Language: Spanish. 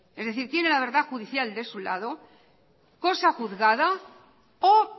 es decir tiene la verdad judicial de su lado cosa juzgada o